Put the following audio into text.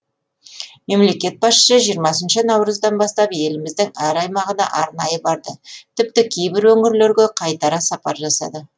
мемлекет басшысы жиырмасыншы наурыздан бастап еліміздің әр аймағына арнайы барды тіпті кейбір өңірлерге қайтара сапар жасады